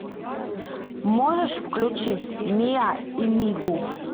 можешь включить миа и мигу